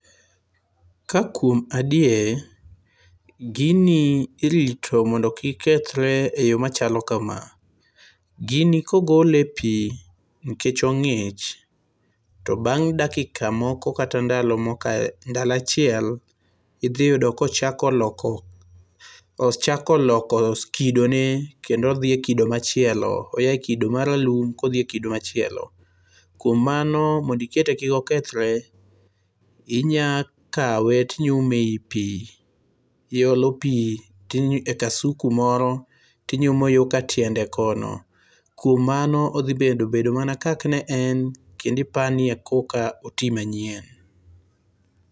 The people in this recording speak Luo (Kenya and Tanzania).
Ka kuom adier gini irito mondo kik kethre e yo machalo kama. Gini kogole e pi nikech ong'ich to bang' dakika kata ndalo moko ndalo achiel idhi yudo kochako loko kidone kendo odhie kido machielo. Oyae kido maralum kodhie kido machielo. Kuom mano mondikete kik okethre inya kawe tinyume e yi pi. I olo pi e kasuku moro tinyuma yoka tiende kono. Kuom mano odhi bedo bedo mana kaka ne en kendo ipani ekoka oti manyien.